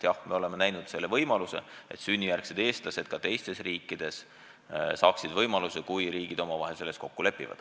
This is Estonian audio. Jah, me oleme ette näinud võimaluse, et sünnijärgsed eestlased ka teistes riikides saaksid topeltkodakondsuse loa, kui riigid omavahel selles kokku lepivad.